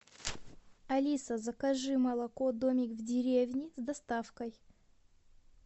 алиса закажи молоко домик в деревне с доставкой